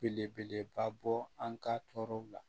Belebeleba bɔ an ka tɔɔrɔw la